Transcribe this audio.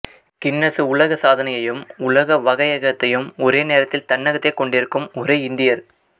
Guinness உலக சாதனையையும் உலக வகையகத்தையும் ஒரே நேரத்தில் தன்னகத்தே கொண்டிருக்கும் ஒரே இந்தியர்